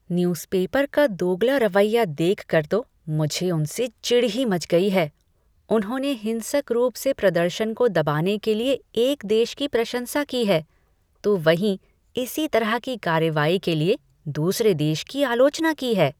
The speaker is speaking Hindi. न्यूज़पेपर का दोगला रवैया देखकर तो मुझे उनसे चिढ़ ही मच गई है, उन्होंने हिंसक रूप से प्रदर्शन को दबाने के लिए एक देश की प्रशंसा की है, तो वहीं इसी तरह की कार्रवाई के लिए दूसरे देश की आलोचना की है।